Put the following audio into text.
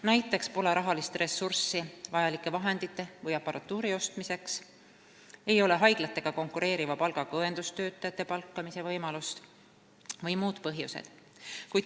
Näiteks pole rahalist ressurssi vajalike vahendite või aparatuuri ostmiseks, ei ole haiglatega konkureeriva palgaga õendustöötajate palkamise võimalust või on muud põhjused.